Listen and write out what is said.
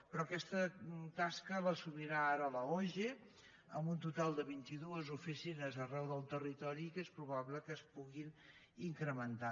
però aquesta tasca l’assumirà ara l’oge amb un total de vint i dues oficines arreu del territori que és probable que es puguin incrementar